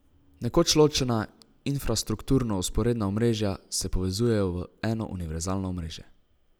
Nekoč ločena, infrastrukturno vzporedna omrežja, se povezujejo v eno univerzalno omrežje.